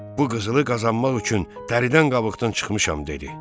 Bu qızılı qazanmaq üçün dəridən qabıqdan çıxmışam dedi.